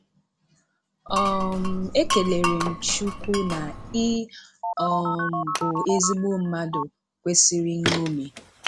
um E kelere m Chukwu na ị um bụ ezigbo mmadụ kwesịrị nñomi